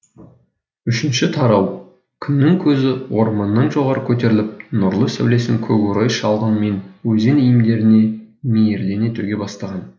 үшінші тараукүннің көзі орманнан жоғары көтеріліп нұрлы сәулесін көкорай шалғын мен өзен иірімдеріне мейірлене төге бастаған